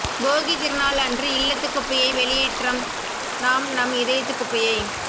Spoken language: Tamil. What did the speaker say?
போகித் திருநாள் அன்று இல்லத்து குப்பையை வெளியேற்றும் நாம் நம் இதயத்துக் குப்பையை